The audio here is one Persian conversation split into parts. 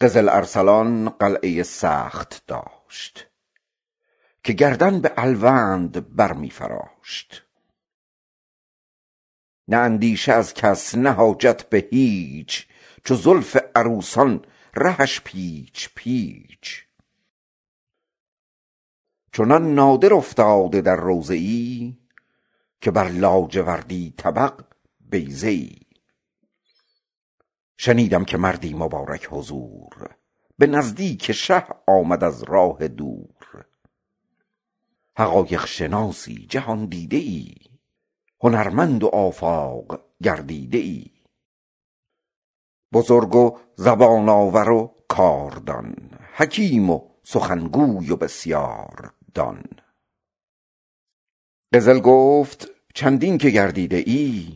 قزل ارسلان قلعه ای سخت داشت که گردن به الوند بر می فراشت نه اندیشه از کس نه حاجت به هیچ چو زلف عروسان رهش پیچ پیچ چنان نادر افتاده در روضه ای که بر لاجوردی طبق بیضه ای شنیدم که مردی مبارک حضور به نزدیک شاه آمد از راه دور حقایق شناسی جهاندیده ای هنرمندی آفاق گردیده ای بزرگی زبان آوری کاردان حکیمی سخنگوی بسیاردان قزل گفت چندین که گردیده ای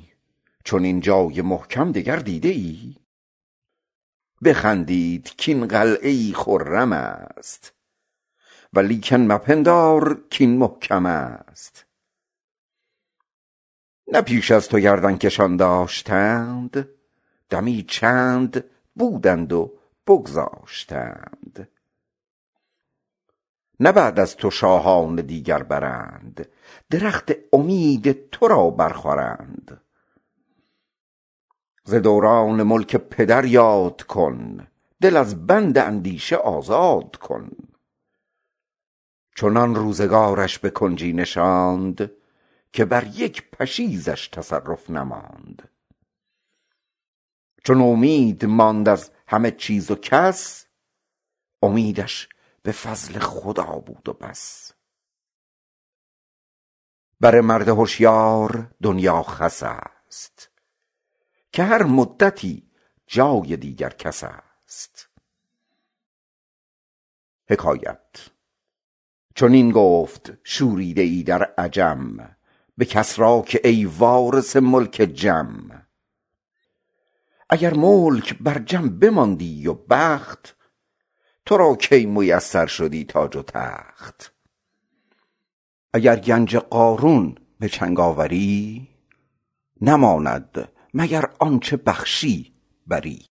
چنین جای محکم دگر دیده ای بخندید کاین قلعه ای خرم است ولیکن نپندارمش محکم است نه پیش از تو گردن کشان داشتند دمی چند بودند و بگذاشتند نه بعد از تو شاهان دیگر برند درخت امید تو را بر خورند ز دوران ملک پدر یاد کن دل از بند اندیشه آزاد کن چنان روزگارش به کنجی نشاند که بر یک پشیزش تصرف نماند چو نومید ماند از همه چیز و کس امیدش به فضل خدا ماند و بس بر مرد هشیار دنیا خس است که هر مدتی جای دیگر کس است چنین گفت شوریده ای در عجم به کسری که ای وارث ملک جم اگر ملک بر جم بماندی و بخت تو را کی میسر شدی تاج و تخت اگر گنج قارون به دست آوری نماند مگر آنچه بخشی بری